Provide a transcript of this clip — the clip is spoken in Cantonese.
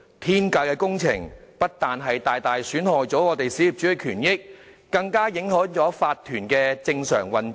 "天價工程"不僅大大損害小業主的權益，更影響了法團的正常運作。